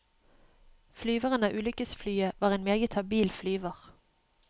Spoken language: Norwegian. Flyveren av ulykkesflyet var en meget habil flyver.